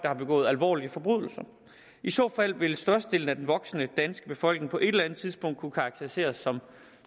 har begået alvorlige forbrydelser i så fald ville størstedelen af den voksne danske befolkning på et eller andet tidspunkt kunne karakteriseres som